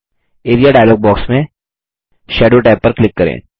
area dialog box में shadow tab पर click करें